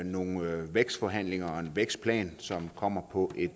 nogle vækstforhandlinger og en vækstplan som kommer på et